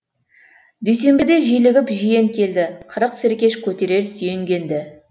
дүйсенбіде желігіп жиен келді қырық серкеш көтерер сүйенгенді